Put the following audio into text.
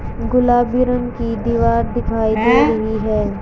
गुलाबी रंग की दीवार दिखाई दे रही है।